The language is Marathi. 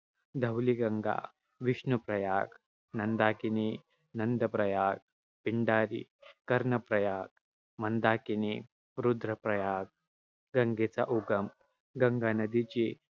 धौलीगंगा-विष्णूप्रयाग, नंदाकिनी-नंदप्रयाग, पिंडारी कर्णप्रयाग मंदाकिनी-रुद्रप्रयाग. गंगेचा उगम, गंगा नदीची,